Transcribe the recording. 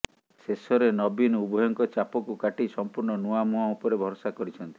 େଶଷରେ ନବୀନ ଉଭୟଙ୍କ ଚାପକୁ କାଟି ସମ୍ପୂର୍ଣ୍ଣ ନୂଆମୁହଁ ଉପରେ ଭରସା କରିଛନ୍ତି